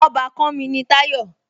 Ọbàkan mi ni Táyọ̀